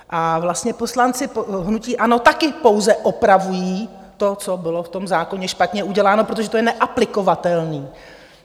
A vlastně poslanci hnutí ANO taky pouze opravují to, co bylo v tom zákoně špatně uděláno, protože to je neaplikovatelné.